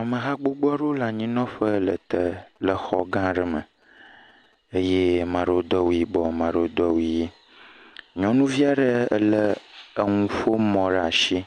Ameha gbogbo aɖewo le anyinɔƒe le te le exɔ gã aɖe me eye ame aɖewo do awu yibɔ ame aɖewo do awu ʋi. Nyɔnuvi aɖe ele enuƒomɔ ɖe asi